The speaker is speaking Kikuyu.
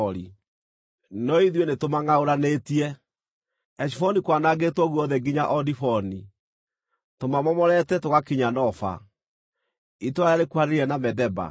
“No ithuĩ nĩtũmangʼaũranĩtie; Heshiboni kwanangĩtwo guothe nginya o Diboni. Tũmamomorete tũgakinya Nofa, itũũra rĩrĩa rĩkuhanĩrĩirie na Medeba.”